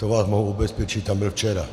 To vás mohu ubezpečit, tam byl včera.